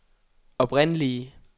oprindelige